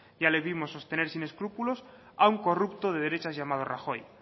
ya le vimos sostener sin escrúpulos a un corrupto de derechas llamado rajoy